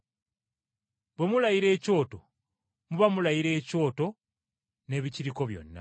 Bwe mulayira ekyoto, muba mulayira ekyoto n’ebikiriko byonna,